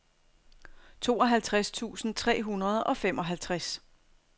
tooghalvtreds tusind tre hundrede og femoghalvtreds